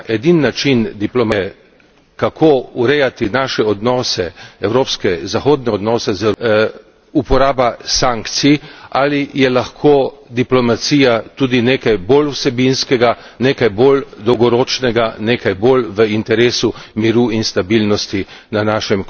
način diplomacije, kako urejati naše odnose, evropske zahodne odnose z Rusijo, uporaba sankcij ali je lahko diplomacija tudi nekaj bolj vsebinskega, nekaj bolj dolgoročnega, nekaj bolj v interesu miru in stabilnosti na našem kontinentu.